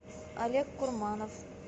олег курманов